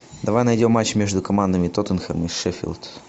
давай найдем матч между командами тоттенхэм и шеффилд